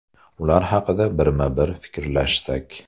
Ular haqida birma-bir fikrlashsak.